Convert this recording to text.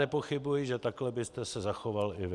Nepochybuji, že takhle byste se zachoval i vy.